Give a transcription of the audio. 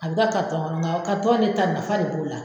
A bɛ ka kɔnɔ nga in de ta nafa de b'o la.